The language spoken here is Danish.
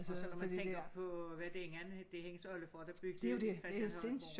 Og så når man tænker på var det ik det var hendes oldefar der byggede Christianshøjgården